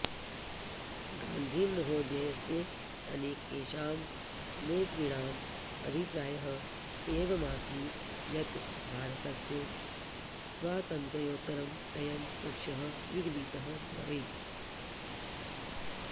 गान्धिमहोदयस्य अनेकेषां नेतॄणाम् अभिप्रायः एवमासीत् यत् भारतस्य स्वातन्त्र्योत्तरम् अयं पक्षः विगलितः भवेत्